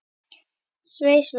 Svei, svei.